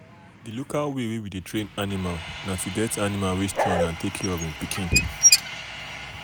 the local way wey we dey train animal na to get animal wey strong and take care of en pikin.